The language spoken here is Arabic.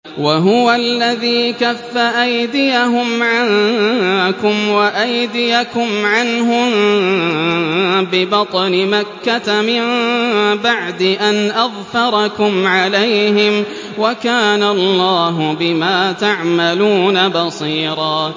وَهُوَ الَّذِي كَفَّ أَيْدِيَهُمْ عَنكُمْ وَأَيْدِيَكُمْ عَنْهُم بِبَطْنِ مَكَّةَ مِن بَعْدِ أَنْ أَظْفَرَكُمْ عَلَيْهِمْ ۚ وَكَانَ اللَّهُ بِمَا تَعْمَلُونَ بَصِيرًا